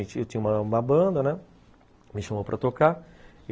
Eu tinha tinha uma banda, né, me chamou para tocar.